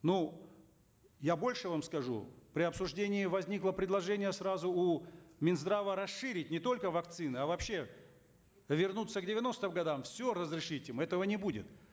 ну я больше вам скажу при обсуждении возникло предложение сразу у минздрава расширить не только вакцины а вообще вернуться к девяностым годам все разрешить им этого не будет